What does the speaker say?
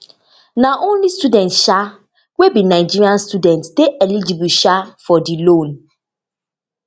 na only students um wey be nigeria citizen dey eligible um for di loan